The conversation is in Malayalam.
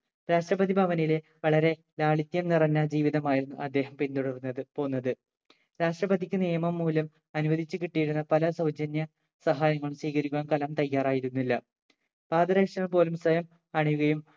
രാഷ്‌ട്രപതി ഭവനിലെ വളരെ ലാളിത്യം നിറഞ്ഞ ജീവിതമായിരുന്നു അദ്ദേഹം പിന്തുടർന്നത് പോന്നത് രാഷ്ട്രപതിക്ക് നിയമം മൂലം അനുവദിച്ച് കിട്ടിയിരുന്ന പല സൗജന്യ സഹായങ്ങളും സ്വീകരിക്കാൻ കലാം തയ്യാറായിരുന്നില്ല. പാദരക്ഷകൾ പോലും സ്വയം അണിയുകയും